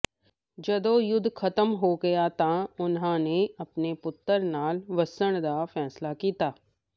ਜਦੋਂ ਯੁੱਧ ਖ਼ਤਮ ਹੋ ਗਿਆ ਤਾਂ ਉਨ੍ਹਾਂ ਨੇ ਆਪਣੇ ਪੁੱਤਰ ਨਾਲ ਵਸਣ ਦਾ ਫ਼ੈਸਲਾ ਕੀਤਾ